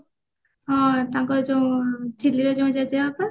ହଁ ତାଙ୍କର ଯୋଉ ଝିଲିର ଯୋଉ ଜେଜେବାପା